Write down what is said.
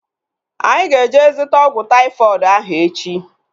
Anyị ga-eje zụta ọgwụ taifọdụ ahu echi